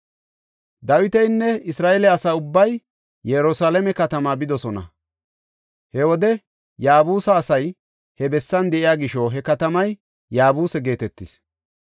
Dawitinne Isra7eele asa ubbay Yerusalaame katamaa bidosona. He wode Yaabuse asay he bessan de7iya gisho he katamay Yaabuse geetetees.